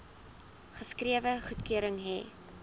geskrewe goedkeuring hê